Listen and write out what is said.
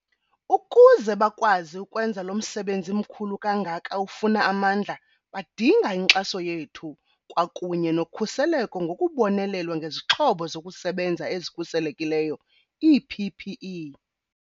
Ukuze bakwazi ukwenza lo msebenzi mkhulu kangaka ufuna amandla badinga inkxaso yethu kwakunye nokhuseleko ngokubonelelwa ngezixhobo zokusebenza ezikhuselekileyo ii-PPE.